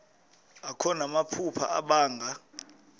akho namaphupha abanga